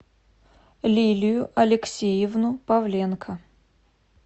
лилию алексеевну павленко